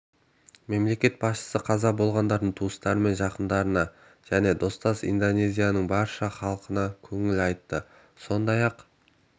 мемлекет басшысы қаза болғандардың туыстары мен жақындарына және достас индонезияның барша халқына көңіл айтты сондай-ақ